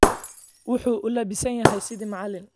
Wuxuu u labisan yahay sidii macallin